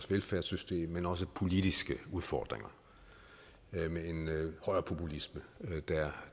velfærdssystem men også politiske udfordringer med en højrepopulisme